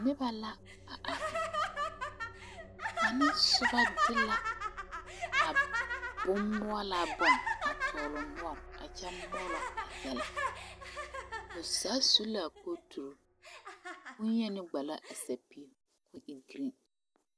Noba la are ka kaŋ de bonmʋɔlaa bon a tɔgle ne o nɔɔre a mɔɔlɔ yɛllɛ. Ba zaa su la kooturi kyɛ ka boŋyeni vɔgle sapili.